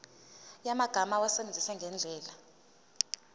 yamagama awasebenzise ngendlela